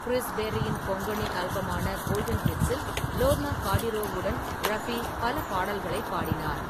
Chris பெர்ரியின் கொங்கனி ஆல்பமான golden ஹிட்ஸில் லோர்னா கார்டிரோவுடன் ரஃபி பல பாடல்களைப் பாடினார்.